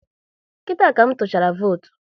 Kita ka m tuchara votu